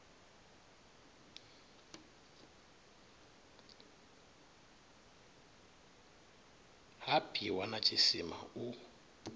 ha bwiwa na tshisima u